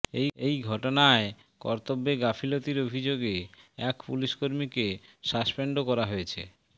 এই ঘটনায় কর্তব্যে গাফিলতির অভিযোগে এক পুলিশ কর্মীকে সাসপেন্ডও করা হয়েছে